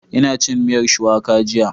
Ina cin miyar Shuwaka jiya